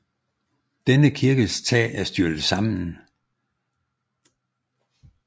Denne kirkes tag er styrtet sammen